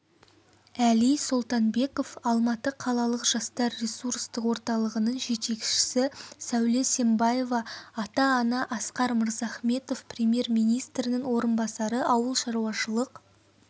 әли солтанбеков алматы қалалық жастар ресурстық орталығының жетекшісі сәуле сембаева ата-ана асқар мырзахметов премьер-министрінің орынбасары ауылшаруашылық